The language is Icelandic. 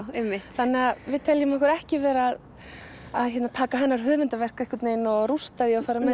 þannig að við teljum okkur ekki vera að taka hennar höfundaverk einhvern veginn og rústa því og fara með